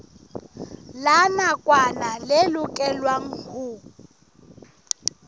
la nakwana le lokelwang ho